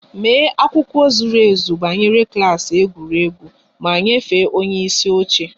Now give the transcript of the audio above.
Mee akụkọ zuru ezu banyere klas egwuregwu ma nyefee onye isi oche!